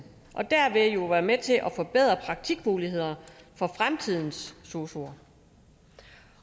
og dermed være med til at forbedre praktikmulighederne for fremtidens sosuer